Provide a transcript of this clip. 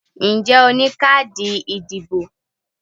Ǹjẹ́ o ní káàdì ìdìbò?